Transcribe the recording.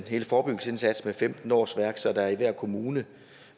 hele forebyggelsesindsatsen med femten årsværk så der i hver kommune